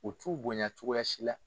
O t'u bonya cogoya si la.